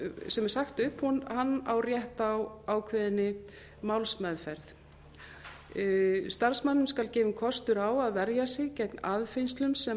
er sagt upp á rétt á ákveðinni málsmeðferð starfsmanninum skal gefinn kostur á að verja sig gegn aðfinnslum sem